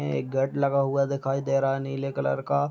एक गड लगा हुआ दिखाई दे रहा है नीले कलर का।